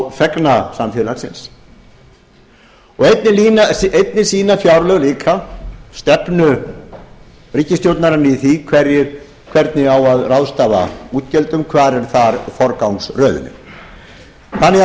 á þegna samfélagsins og einnig sýna fjárlög líka stefnu ríkisstjórnarinnar í því hvernig á að ráðstafa útgjöldum hvar er þar forgangsröðunin það má